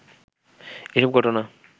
এসব ঘটনা